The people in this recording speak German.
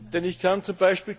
Denn ich kann z.